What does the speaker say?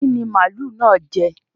Kí ni màlúù náà jẹ?